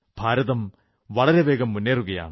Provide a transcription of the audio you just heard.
ഭാരതം വളരെ വേഗം മുന്നേറുകയാണ്